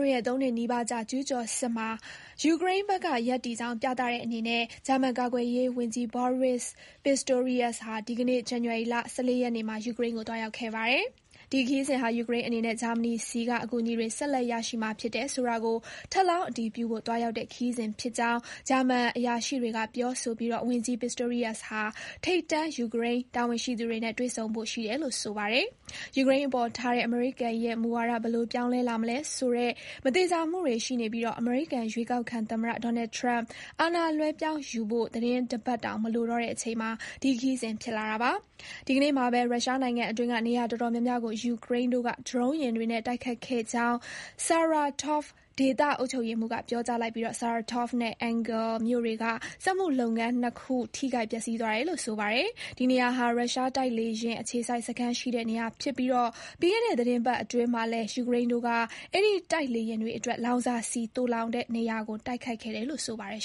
ရဲ့ ၃ နှစ်နီးပါးကြာ ကျူးကျော်စစ်မှာ ယူကရိန်းဘက်က ရပ်တည်ကြောင်းပြသတဲ့အနေနဲ့ ဂျာမန်ကာကွယ်ရေးဝန်ကြီး Boris Pistorius ဟာ ဒီကနေ့ ဇန်နဝါရီ ၁၄ ရက်နေ့မှာ ယူကရိန်းကို သွားရောက်ခဲ့ပါတယ်။ ဒီခရီးစဉ်ဟာ ယူကရိန်းအနေနဲ့ ဂျာမနီထံက အကူအညီတွေ ဆက်လက်ရရှိမှာဖြစ်တယ်ဆိုတာကို ထပ်လောင်း အတည်ပြုဖို့ သွားရောက်တဲ့ခရီးစဉ်ဖြစ်ကြောင်း ဂျာမန်အရာရှိတွေကပြောပြီး ဝန်ကြီး Pistorius ဟာ ထိပ်တန်း ယူကရိန်းတာဝန်ရှိသူတွေနဲ့ တွေ့ဆုံဖို့ရှိတယ်လို့ ဆိုပါတယ်။ ယူကရိန်းအပေါ်ထားတဲ့ အမေရိကန်ရဲ့ မူဝါဒ ဘယ်လို ပြောင်းလဲလာမလဲဆိုတဲ့ မသေချာမှုတွေ ရှိနေပြီး အမေရိကန်ရွေးကောက်ခံသမ္မတ Donald Trump အာဏာလွဲပြောင်းယူဖို့ သီတင်းတပတ်တောင် မလိုတော့တဲ့အချိန်မှာ ဒီခရီးစဉ် ဖြစ်လာတာပါ။ ဒီကနေ့မှာပဲ ရုရှားနိုင်ငံအတွင်းက နေရာအတော်များများကို ယူကရိန်းတို့က ဒရုံးယာဉ်တွေနဲ့ တိုက်ခိုက်ခဲ့ကြောင်း Saratov ဒေသ အုပ်ချုပ်ရေးမှူး Roman Busargin က ပြောကြားလိုက်ပြီး Saratov နဲ့ Engels မြို့တွေက စက်မှုလုပ်ငန်းနှစ်ခု ထိခိုက်ပျက်စီးသွားတယ်လို့ ဆိုပါတယ်။ ဒီနေရာဟာ ရုရှားတိုက်လေယာဉ် အခြေစိုက်စခန်းရှိတဲ့နေရာဖြစ်ပြီး ပြီးခဲ့တဲ့သီတင်းပတ်အတွင်းမှာ လည်း ယူကရိန်းတို့က အဲဒီ တိုက်လေယာဉ်တွေအတွက် လောင်စာဆီသိုလှောင်တဲ့နေရာကို တိုက်ခိုက်ခဲ့တယ်လို့ ဆိုပါတယ်